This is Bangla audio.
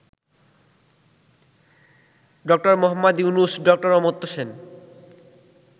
ড: মুহাম্মদ ইউনূস, ড: অমর্ত্য সেন